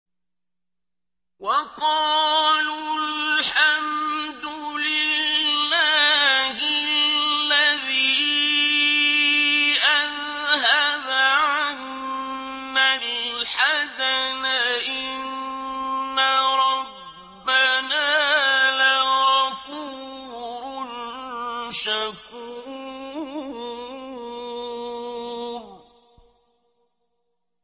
وَقَالُوا الْحَمْدُ لِلَّهِ الَّذِي أَذْهَبَ عَنَّا الْحَزَنَ ۖ إِنَّ رَبَّنَا لَغَفُورٌ شَكُورٌ